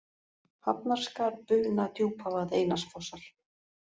Hafnarskarð, Buna, Djúpavað, Einarsfossar